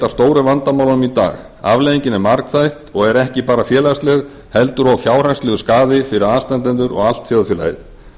stóru vandamálunum í dag afleiðingin er margþætt og er ekki bara félagsleg heldur og fjárhagslegur skaði fyrir aðstandendur og allt þjóðfélagið